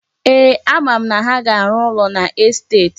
Eeh, ama m na ha ga-arụ ụlọ n'estet.